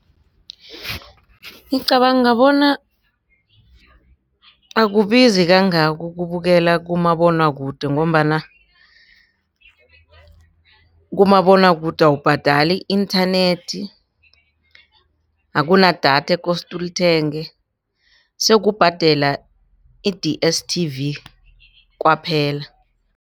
Ngicabanga bona akubizi kangako ukubukela kumabonwakude ngombana kumabonwakude awubhadali i-internet, akunadatha ekose ulithenge sokubhadela i-D_S_T_V kwaphela.